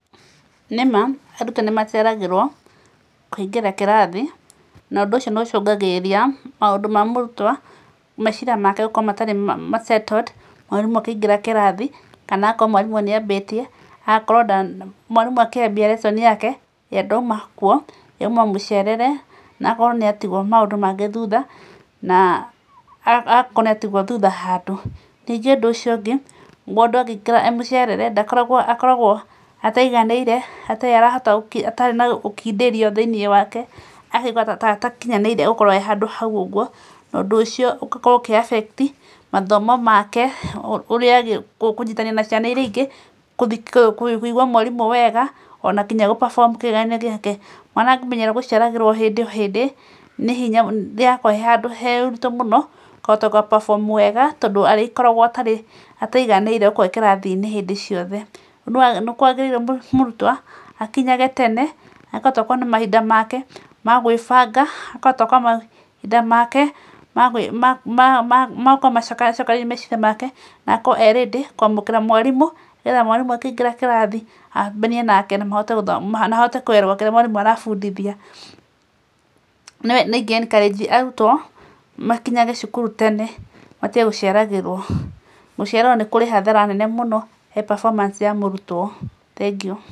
Nĩma arutwo nĩ maceragĩrwo, kũingĩra kĩrathi, na ũndũ ũcio nĩ ũcũngagĩrĩria maũndũ ma mũrutwo meciria make gũkorwo matarĩ ma settled mwarimũ akĩingĩra kĩrathi, kana agakorwo mwarimũ nĩ ambatie, agakorwo ndana mwarimũ akĩambia lesson yake ye ndaima kuũ, ye aima mũcerere, na agakorwo nĩ atigwo maũndũ mangĩ thutha, na agakorwo nĩ atigwo thutha handũ, nyingĩ ũndũ ũcio ũngĩ, mũndũ angĩingĩra e mũcerere akoragwo ndakoragwo ataiganĩre, atarĩ arahota atarĩ na ũkindĩrio thĩinĩ wake, akaigwa ta atakinyanĩire gũkorwo e handũ hau ũguo, na ũndũ ũcio ũgakorwo ũkĩ affect mathomo make, ũrĩa agĩ kũnyitanĩra na ciana iria ingĩ, kũbi kũigwa mwarimũ wega, ona nginya gũ perform kĩgeranio gĩake, mwana angĩmenyera gũcererwo hĩndĩ o hĩndĩ, nĩ hinya, nĩ hakoragwo he handũ haritũ mũno, kũhota gũga perform wega, tondũ arĩkoragwo atarĩ, ataiganĩire gũkorwo e kĩrathi-inĩ hĩndĩ ciothe, nĩ kwagĩrĩire mũrutwo akinyage tene, akahota gũkorwo na mahinda make ma magwĩbanga, akahota gũkorwo na mahinda make magwĩ ma ma magukorwo acokanĩrĩirie meciria make, na akorwo e ready kwamũkĩra mwarimũ, nĩ getha mwarimũ akĩingĩra kĩrathi, ambanie nake na mahote gũtho na ahote kuelewa kĩrĩa mwarimũ arabundithia, nĩ inge encourage arutwo makinyage cukuru tene, matige gũceragĩrwo, gũcererwo nĩ kũrĩ hathara nene mũno he performance ya mũrutwo, thengiũ.